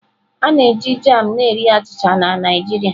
A na-eji jam na-eri achịcha na Naijiriaa.